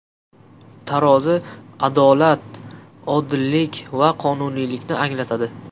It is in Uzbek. Tarozi adolat, odillik va qonuniylikni anglatadi.